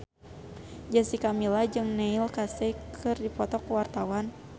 Jessica Milla jeung Neil Casey keur dipoto ku wartawan